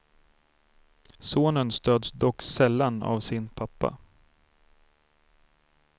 Sonen stöds dock sällan av sin pappa.